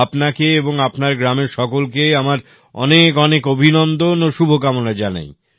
আপনাকে এবং আপনার গ্রামের সকলকে আমার অনেক অভিনন্দন ও শুভ কামনা জানাই